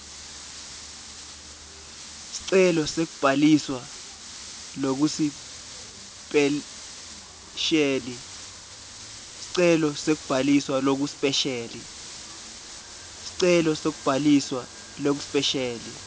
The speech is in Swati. sicelo sekubhaliswa lokusipesheli